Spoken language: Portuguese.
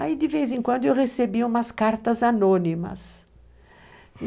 Aí, de vez em quando, eu recebia umas cartas anônimas.